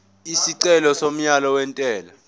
isicelo somyalo wentela